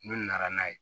N'u nana n'a ye